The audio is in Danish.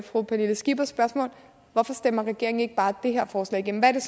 fru pernille skippers spørgsmål hvorfor stemmer regeringen ikke bare det her forslag igennem hvad er